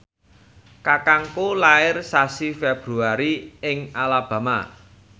kakangku lair sasi Februari ing Alabama